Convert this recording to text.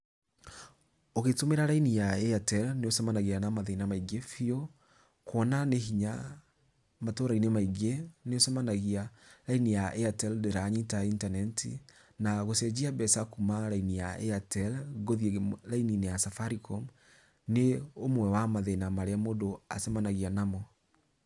Ũgĩtũmĩra raini ya Airtel nĩũcemanagia na mathĩna maingĩ bĩũ, kuona nĩ hinya matũrainĩ maingĩ nĩũcemanagia raini ya Airtel ndĩranyita internet, na gũcenjia mbeca kuma raini ya Airtel gũthiĩ raini-inĩ ya Safaricom nĩ ũmwe wa mathĩna marĩa mũndũ acemanagia namo.